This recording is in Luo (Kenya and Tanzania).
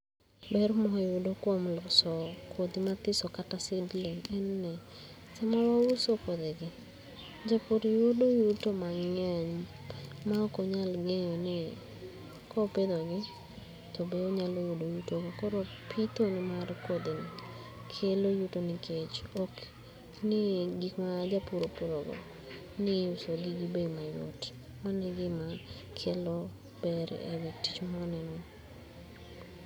Ber mawayudo kuom uso kodhi mathiso kata seedling en ni sama wayudo kodhi gi jopur yudo yuto mangeny maok onyal ngeyo ni kopidho gi tobe onyalo yudo yuto go .Koro pitho mar kodhi gi kelo yuto nikech nie gik ma japur opuro go ni iuso gi gi bei mayot, mano egima kelo ber e tich mwaneno ni